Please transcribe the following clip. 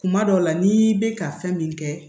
Kuma dɔw la n'i bɛ ka fɛn min kɛ